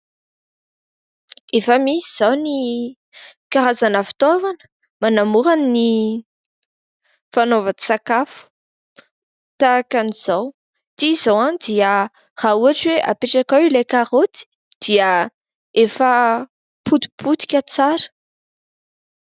Efa misy izao ny karazana fitaovana manamora ny fanaovan-tsakafo tahaka an'izao. Ity izao dia raha ohatra hoe apetrakao ilay karaoty, dia efa potipotika tsara.